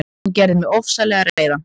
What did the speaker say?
Hann gerði mig ofsalega reiðan.